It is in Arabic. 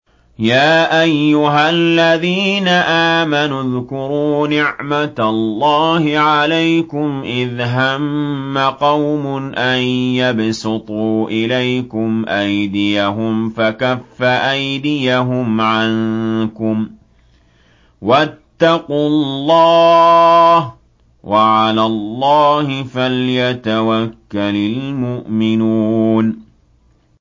يَا أَيُّهَا الَّذِينَ آمَنُوا اذْكُرُوا نِعْمَتَ اللَّهِ عَلَيْكُمْ إِذْ هَمَّ قَوْمٌ أَن يَبْسُطُوا إِلَيْكُمْ أَيْدِيَهُمْ فَكَفَّ أَيْدِيَهُمْ عَنكُمْ ۖ وَاتَّقُوا اللَّهَ ۚ وَعَلَى اللَّهِ فَلْيَتَوَكَّلِ الْمُؤْمِنُونَ